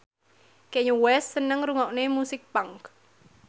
Kanye West seneng ngrungokne musik punk